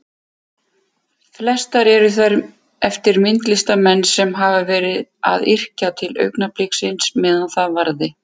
Flestar eru þær eftir myndlistarmenn sem hafa verið að yrkja til augnabliksins meðan það varði.